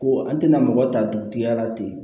Ko an tɛna mɔgɔ ta dugutigiya la ten